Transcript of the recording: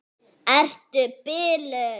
Ertu biluð!